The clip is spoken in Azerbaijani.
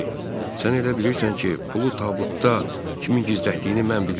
Sən elə bilirsən ki, pulu tabutda kimin gizlətdiyini mən bilirəm?